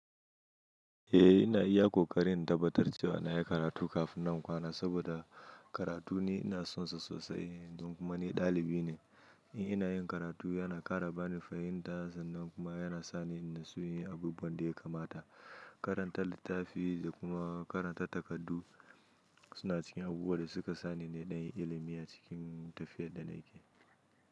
Eh ina iya ƙoƙari in tabbatar cewa na yi karatu kafin nan in kwana saboda karatu ni ina son sa sosai don kuma ni ɗalibi ne in ina yin karatu yana ƙara bani fahimta sannan kuma yana sani in natsu inyi abubuwan da ya kamata. Karanta littafi da kuma karanta takardu suna cikin abubuwa da suka sani na ɗanyi ilimi a cikin tafiyar da na ke.